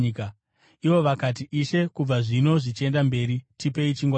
Ivo vakati, “Ishe, kubva zvino zvichienda mberi, tipei chingwa ichi.”